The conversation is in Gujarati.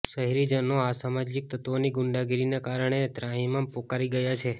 શહેરીજનો અસામાજિક તત્વોની ગુંડાગીરીના કારણે ત્રાહિમામ પોકારી ગયા છે